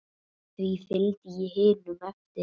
Því fylgdi ég hinum eftir.